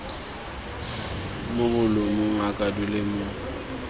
mo bolumong a kwadilwe mo